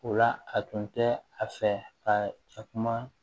O la a tun tɛ a fɛ ka cɛkumaa